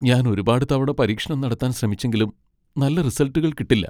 ഞാൻ ഒരുപാട് തവണ പരീക്ഷണം നടത്താൻ ശ്രമിച്ചെങ്കിലും നല്ല റിസൾട്ടുകൾ കിട്ടില്ല .